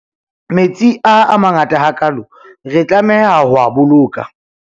metsi a a mangaata ha kaalo re tlameha ho a boloka